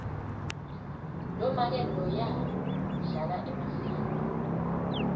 lomake loya udlala emafilimu